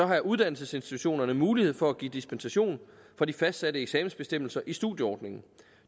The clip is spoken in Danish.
har uddannelsesinstitutionerne mulighed for at give dispensation fra de fastsatte eksamensbestemmelser i studieordningen